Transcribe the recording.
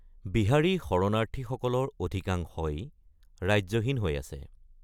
বিহাৰী শৰণাৰ্থীসকলৰ অধিকাংশই ৰাজ্যহীন হৈ আছে।